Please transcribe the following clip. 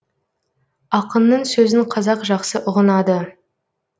ақынның сөзін қазақ жақсы ұғынады